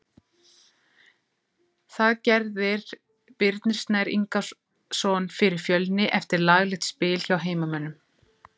Það gerðir Birnir Snær Ingason fyrir Fjölni eftir laglegt spil hjá heimamönnum.